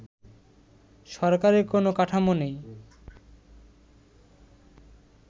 সরকারের কোন কাঠামো নেই